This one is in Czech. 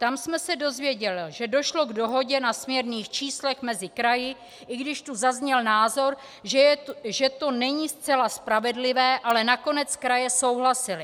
Tam jsme se dozvěděli, že došlo k dohodě na směrných číslech mezi kraji, i když tu zazněl názor, že to není zcela spravedlivé, ale nakonec kraje souhlasily.